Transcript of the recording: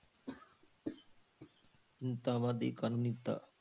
ਤਾਂ ਵਾਧੀ ਕਰਨੀ ਤਾਂ।